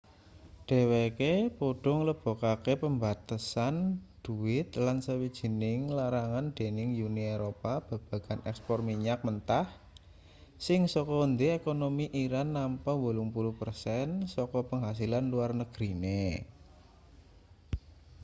dheweke padha nglebokake pembatasan dhuwit lan sawijining larangan dening uni eropa babagan ekspor minyak mentah sing saka endi ekonomi iran nampa 80% saka penghasilan luar negrine